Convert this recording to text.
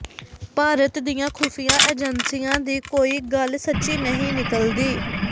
ਭਾਰਤ ਦੀਆਂ ਖੁਫੀਆ ਏਜੰਸੀਆਂ ਦੀ ਕੋਈ ਗੱਲ ਸੱਚੀ ਨਹੀਂ ਨਿਕਲਦੀ